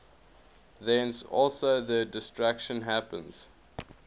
thence also their destruction happens